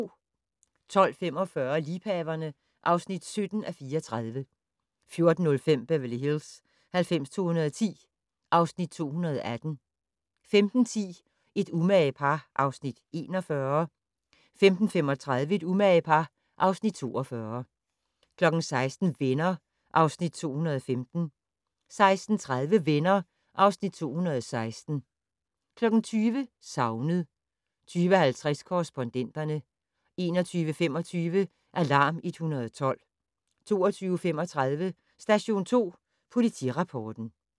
12:45: Liebhaverne (17:34) 14:05: Beverly Hills 90210 (Afs. 218) 15:10: Et umage par (Afs. 41) 15:35: Et umage par (Afs. 42) 16:00: Venner (Afs. 215) 16:30: Venner (Afs. 216) 20:00: Savnet 20:50: Korrespondenterne 21:25: Alarm 112 22:35: Station 2 Politirapporten